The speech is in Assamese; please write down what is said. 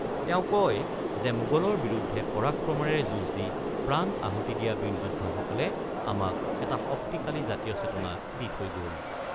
তেওঁ কয় যে, মোগলৰ বিৰুদ্ধে পৰাক্ৰমেৰে যুঁজ দি প্ৰাণ আহুতি দিয়া বীৰ যোদ্ধাসকলে আমাক এটা শক্তিশালী জাতীয় চেতনা দি থৈ গ'ল।